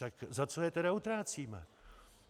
Tak za co je tedy utrácíme?